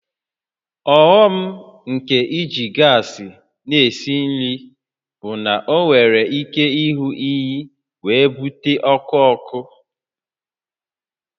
Ọghọm nke iji gas na-esi nri bụ na ọ nwere ike ịhụ ehi wee bute ọkụ ọkụ